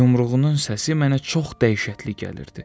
Yumruğunun səsi mənə çox dəhşətli gəlirdi.